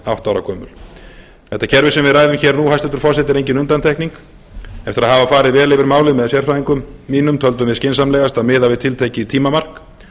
ára gömul þetta kerfi sem við ræðum hér nú hæstvirtur forseti er engin undantekning eftir að hafa farið vel yfir málið með sérfræðingum mínum töldum við skynsamlegast að miða við tiltekið tímamark